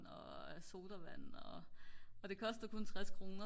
og sodavand og det kostede kun 60 kroner